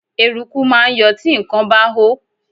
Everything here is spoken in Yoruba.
Eruku máa ń yọ tí nǹkan bá hó.